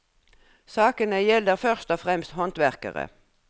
Sakene gjelder først og fremst håndverkere.